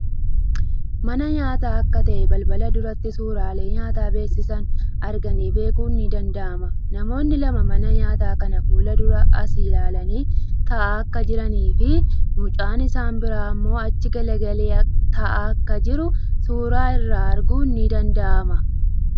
Mana nyaataa akka ta'e balbala duratti suuraalee nyaata beeksisan arganii beekun ni danda'ama. Namoonni lama mana nyaataa kana fuuldura asi ilaalanii taa'aa akka jiranii fii mucaan isa biraa immoo achi garagalee taa'aa akka jiru suuraa irraa arguun ni dada'ama.